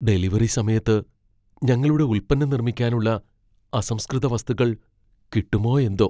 Delivery സമയത്ത് ഞങ്ങളുടെ ഉൽപ്പന്നം നിർമ്മിക്കാനുള്ള അസംസ്കൃത വസ്തുക്കൾ കിട്ടുമോ എന്തോ?